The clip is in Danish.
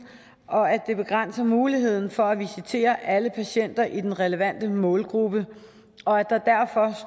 og at det begrænser muligheden for at visitere alle patienter i den relevante målgruppe